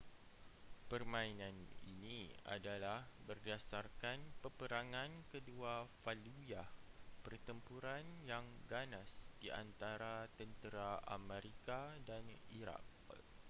permainan ini adalah berdasarkan peperangan kedua fallujah pertempuran yang ganas di antara tentera amerika dan iraq